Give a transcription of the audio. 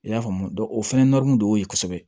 I y'a faamu o fɛnɛ nɔri mun de y'o ye kosɛbɛ